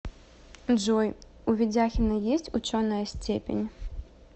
джой у ведяхина есть ученая степень